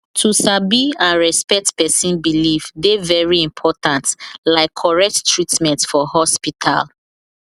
to sabi and respect person belief dey very important like correct treatment for hospital